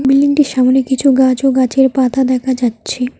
বিল্ডিংটির সামনে কিছু গাছ ও গাছের পাতা দেখা যাচ্ছে।